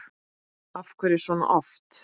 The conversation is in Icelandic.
Af hverju svona oft?